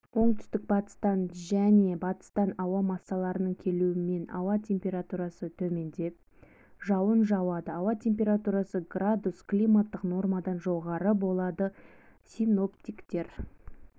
оңтүстік-батыстан және батыстан ауа массаларының келуімен ауа температурасы төмендеп жауын жауады ауа температурасы градус климаттық нормадан жоғары болады синоптиктер